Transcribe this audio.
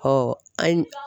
Ɔ a yi